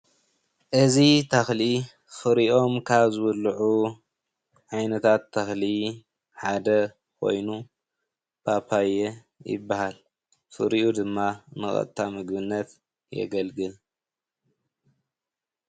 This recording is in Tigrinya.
እዚ ምስሊ ካብቶም ፍሪኦም ዝብልዑ ሓደ ኮይኑ ስሙ ከዓ ፓፓየ ይበሃል።